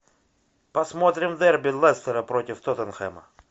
посмотрим дерби лестера против тоттенхэма